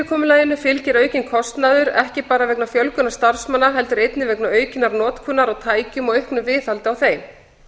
öryggi viðverufyrirkomulaginu fylgir aukinn kostnaður ekki bara vegna fjölgunar starfsmanna heldur einnig vegna aukinnar notkunar á tækjum og auknu viðhaldi á þeim